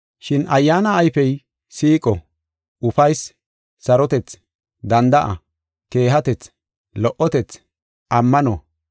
Shin Ayyaana ayfey, siiqo, ufaysi, sarotethi, danda7a, keehatethi, lo77otethi, ammano,